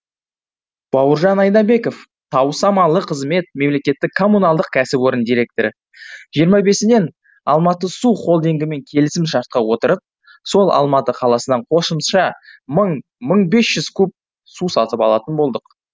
бауыржан айнабеков таусамалы қызмет мемлекеттік коммуналдық кәсіпорын директоры жиырма бесінен алматы су холдингімен келісім шартқа отырып сол алматы қаласынан қосымша мың мың бес жүз куб су сатып алатын болдық